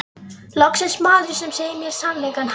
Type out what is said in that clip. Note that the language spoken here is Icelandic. Loksins maður sem segir mér sannleikann, ha?